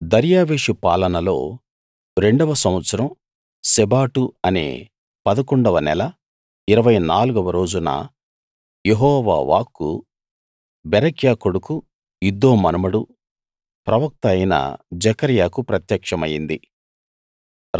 దర్యావేషు పాలనలో రెండవ సంవత్సరం శెబాటు అనే 11 వ నెల 24 వ రోజున యెహోవా వాక్కు బెరక్యా కొడుకు ఇద్దో మనుమడు ప్రవక్త అయిన జెకర్యాకు ప్రత్యక్షమయింది